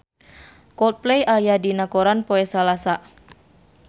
Coldplay aya dina koran poe Salasa